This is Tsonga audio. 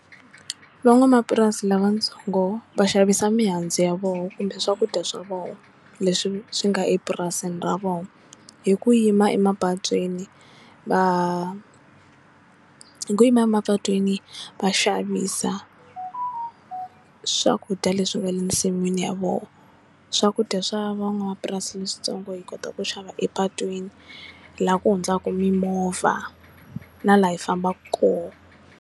Van'wamapurasi lavatsongo va xavisa mihandzu ya vona kumbe swakudya swa vona leswi swi nga epurasini ra vona hi ku yima emapatwini va hi ku yima emapatwini va xavisa swakudya leswi nga le ensin'wini ya vona swakudya swa van'wamapurasini leswitsongo hi kota ku xava epatwini la ku hundzaka mimovha na laha hi fambaka kona.